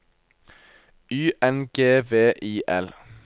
Y N G V I L